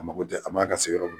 A ma ko tɛ a man ka se yɔrɔ min